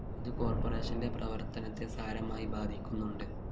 ഇത് കോര്‍പ്പറേഷന്റെ പ്രവര്‍ത്തനത്തെ സാരമായി ബാധിക്കുന്നുണ്ട്